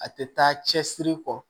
A tɛ taa cɛsiri kɔ